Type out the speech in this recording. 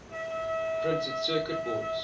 printed circuit boards